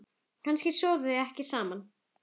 Kannski sofa þau ekkert saman?